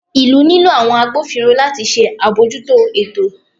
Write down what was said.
ìlú nilo àwọn àgbófínró latí ṣe abọjúto ẹtò